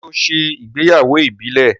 ṣe o ṣe ìgbéyàwó ìbílè?